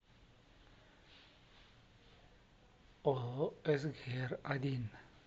ооо сгр один